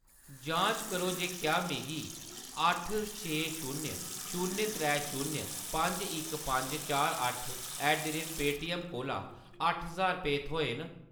जांच करो जे क्या मिगी अट्ठ छे शून्य शून्य त्रै शून्य पंज इक पंज चार अट्ठ ऐट द रेट पेटीएम कोला अट्ठ ज्हार रपेऽ थ्होए न।